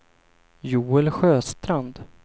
Joel Sjöstrand